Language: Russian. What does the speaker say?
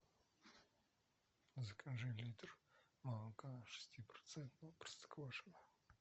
закажи литр молока шестипроцентного простоквашино